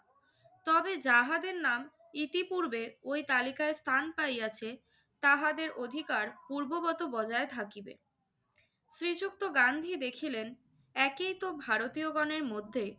তবে যাহাদের নাম ইতিপূর্বে ওই তালিকায় স্থান পাইয়াছে তাহাদের অধিকার পূর্ববৎ বজায় থাকিবে। শ্রীযুক্ত গান্ধী দেখিলেন একইতো ভারতীয়গণের মধ্যে